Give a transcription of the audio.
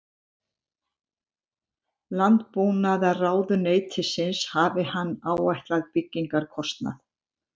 Landbúnaðarráðuneytisins hafi hann áætlað byggingarkostnað